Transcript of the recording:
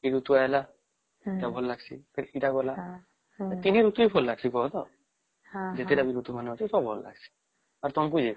ଶୀତ ଋତୁ ଆସିଲା ଏଟା ଭଲ ଲାଗିଲା ଫେର ଏଟା ଗଲା ୩ ଋତୁ ହିଁ ଭଲ ଲାଗିବ ଯେତେ ତା ଋତୁ ମାନେ ବି ଅଛେ ଭଲ ଲାଗିଁସେ